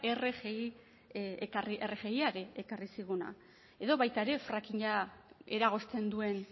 rgia ekarri ziguna edo baita ere frackinga eragozten duen